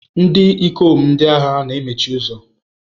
Ndị ikom ndị agha na-emechi ụzọ.